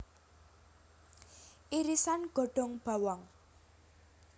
Irisan godhong bawang